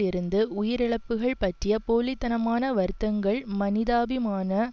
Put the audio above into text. இருந்து உயிரிழப்புக்கள் பற்றிய போலி தனமான வருத்தங்கள் மனிதாபிமான